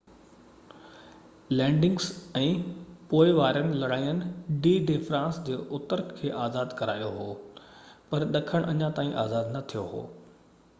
d-day landings ۽ پوءِ وارين لڙائين فرانس جي اتر کي آزاد ڪرايو هو پر ڏکڻ اڃا تائين آزاد نہ ٿيو هو